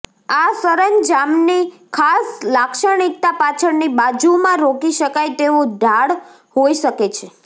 આ સરંજામની ખાસ લાક્ષણિકતા પાછળની બાજુમાં રોકી શકાય તેવો ઢાળ હોઈ શકે છે